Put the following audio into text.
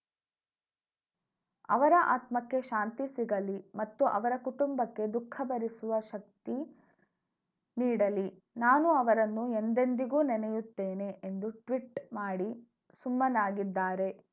ಅವರ ಆತ್ಮಕ್ಕೆ ಶಾಂತಿ ಸಿಗಲಿ ಮತ್ತು ಅವರ ಕುಟುಂಬಕ್ಕೆ ದುಃಖವನ್ನು ಭರಿಸುವ ಶಕ್ತಿ ನೀಡಲಿ ನಾನು ಅವರನ್ನು ಎಂದೆಂದಿಗೂ ನೆನೆಯುತ್ತೇನೆ ಎಂದು ಟ್ವೀಟ್‌ ಮಾಡಿ ಸುಮ್ಮನಾಗಿದ್ದಾರೆ